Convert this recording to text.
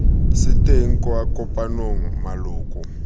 se teng kwa kopanong maloko